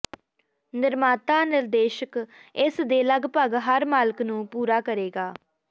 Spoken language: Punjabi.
ਨਿਰਮਾਤਾ ਨਿਰਦੇਸ਼ ਇਸ ਦੇ ਲਗਭਗ ਹਰ ਮਾਲਕ ਨੂੰ ਪੂਰਾ ਕਰੇਗਾ